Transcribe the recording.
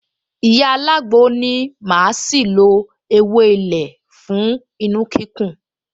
Ìyá alágbo ní màá ṣì lo ewé ilé fún inu-kíkún